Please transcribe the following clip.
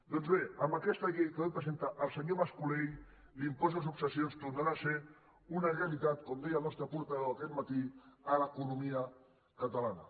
doncs bé amb aquesta llei que avui presenta el senyor mascolell l’impost de successions tornarà a ser una realitat com deia el nostre portaveu aquest matí en l’economia catalana